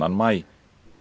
maí